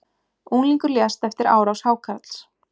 Unglingur lést eftir árás hákarls